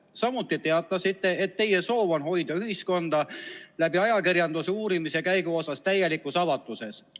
Samuti teatasite, et teie soov on hoida ühiskonda ajakirjanduse kaudu uurimise käigu osas täielikus avatuses.